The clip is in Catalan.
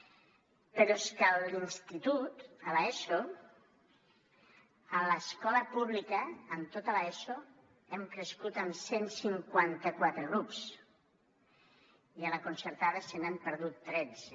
però és que a l’institut a l’eso a l’escola pública en tota l’eso hem crescut en cent i cinquanta quatre grups i a la concertada se n’han perdut tretze